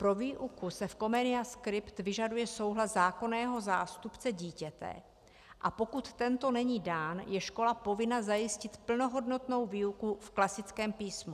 Pro výuku se v Comenia Script vyžaduje souhlas zákonného zástupce dítěte, a pokud tento není dán, je škola povinna zajistit plnohodnotnou výuku v klasickém písmu.